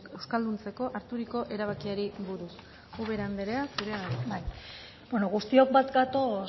euskalduntzeko harturiko erabakiari buruz ubera andrea zurea da hitza bai beno guztiok bat gatoz